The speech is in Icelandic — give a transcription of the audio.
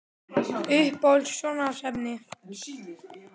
Uppáhalds sjónvarpsefni?